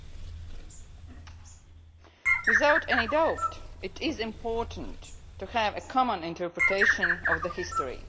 Without any doubt, it is important to have a common interpretation of the history.